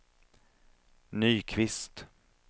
Nyqvist